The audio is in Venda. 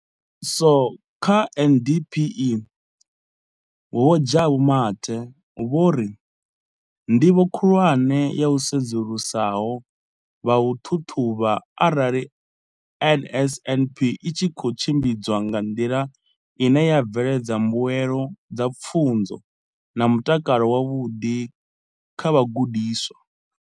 So kha MDPME, Vho Jabu Mathe, vho ri ndivho khulwane ya u sedzulusa ho vha u ṱhaṱhuvha arali NSNP i tshi khou tshimbidzwa nga nḓila ine ya bveledza mbuelo dza pfunzo na mutakalo wavhuḓi kha vhagudiswa.